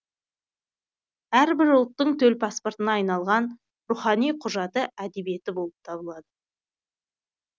әрбір ұлттың төл паспортына айналған рухани құжаты әдебиеті болып табылады